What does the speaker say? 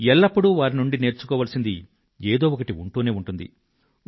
ఎల్లప్పుడూ వారి నుండి నేర్చుకోవాల్సింది ఏదో ఒకటి ఉంటూనే ఉంటుంది